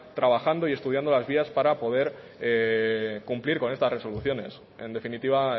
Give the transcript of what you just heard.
trabajando y estudiando las vías para poder cumplir con estas resoluciones en definitiva